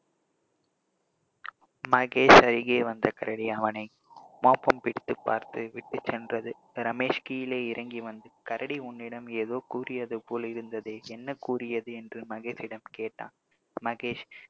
மகேஷ் அருகே வந்த கரடி அவனை மோப்பம் பிடித்து பார்த்து விட்டுச்சென்றது ரமேஷ் கீழே இறங்கி வந்து கரடி உன்னிடம் ஏதோ கூறியது போல் இருந்ததே என்ன கூறியது என்று மகேஷிடம் கேட்டான், மகேஷ்